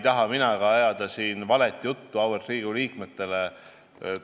Ma ei taha siin auväärt Riigikogu liikmetele valet juttu ajada.